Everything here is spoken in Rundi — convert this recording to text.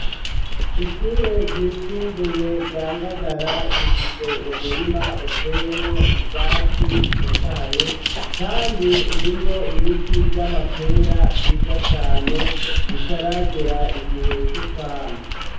Ishure ryisumbuye ryangagara rifise umurima uteyemwo ivyatsi bitotahaye, kandi urimwo ibiti vy'amapera vyiza cane bitaragera igihe c'ukwama.